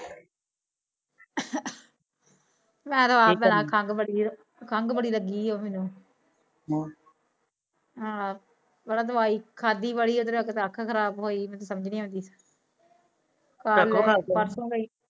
ਯਾਰ ਉਹ ਆਪ ਬੜਾ ਖੰਘ ਖੰਘ ਬੜਾ ਲੱਗੀ ਬੀ ਅਹ ਹਾ ਦਵਾਈ ਖਾਦੀ ਪਾਰਸੋ ਗਈ